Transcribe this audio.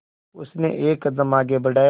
उसने एक कदम आगे बढ़ाया